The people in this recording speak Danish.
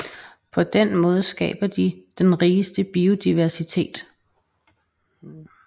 På den måde skaber de den rigeste biodiversitet